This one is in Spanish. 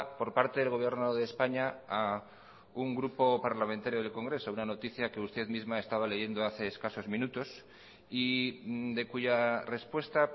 por parte del gobierno de españa a un grupo parlamentario del congreso una noticia que usted misma estaba leyendo hace escasos minutos y de cuya respuesta